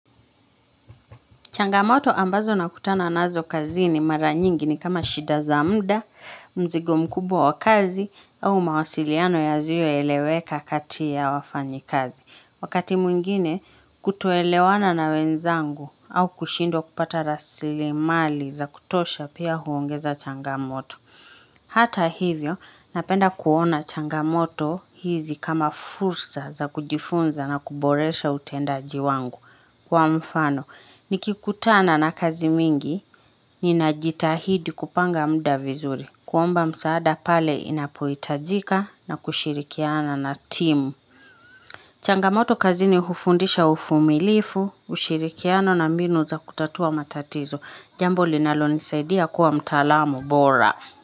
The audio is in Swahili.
Changamoto ambazo nakutana nazo kazini mara nyingi ni kama shida za muda, mzigo mkubwa wa kazi au mawasiliano yazioeleweka kati ya wafanyi kazi. Wakati mwingine kutoelewana na wenzangu au kushindwa kupata rasili mali za kutosha pia huongeza changamoto. Hata hivyo napenda kuona changamoto hizi kama fursa za kujifunza na kuboresha utendaji wangu kwa mfano. Niki kutana na kazi mingi, ninajitahidi kupanga muda vizuri, kuomba msaada pale inapohitajika na kushirikiana na timu. Changamoto kazini hufundisha uvumilivu, ushirikiano na mbinu za kutatua matatizo. Jambo linalo nisaidia kuwa mtalamu bora.